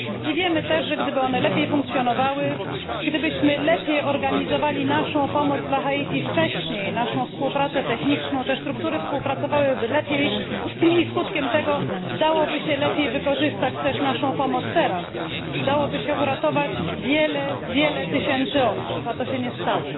Wiemy też, że gdyby one lepiej funkcjonowały, gdybyśmy wcześniej lepiej organizowali naszą pomoc dla Haiti, naszą współpracę techniczną, te struktury współpracowałyby lepiej i skutkiem tego dałoby się lepiej wykorzystać także naszą pomoc teraz, dałoby się uratować wiele tysięcy osób a tak się nie stało.